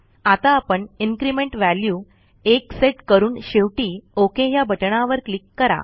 आता आपण increment value 1 set करून शेवटी ओक ह्या बटणावर क्लिक करा